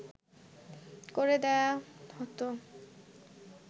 করে দেয়া হতো